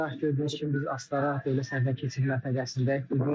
Hazırda gördüyünüz kimi biz Astara dövlət sərhəd keçid məntəqəsindəyik.